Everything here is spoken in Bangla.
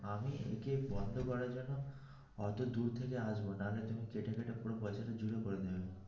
আমি এইটে বন্ধ করার জন্য এতো দূর থেকে আসবো নাহলে তুমি কেটে কেটে পুরো পয়সাটা zero করে দেবে.